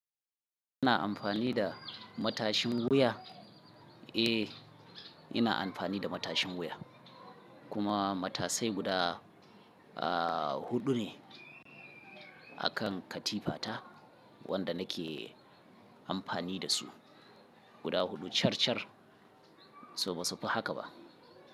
Ina amfani da matashin wuya? Eh, ina amfani da matashin wuya kuma matasai guda, ah, huɗu ne a kan katifata wanda nake amfani da su. Guda huɗu car car, so ba su fi haka ba.